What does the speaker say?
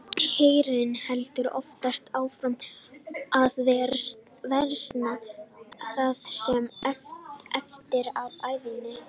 Heyrnin heldur oftast áfram að versna það sem eftir er ævinnar.